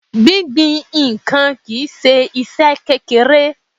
Gbingbin ǹkan kìí ṣe iṣẹ́ kékeré.